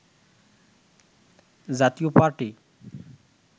জাতীয় পার্টি